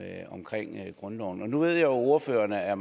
er omkring grundloven nu at ordføreren er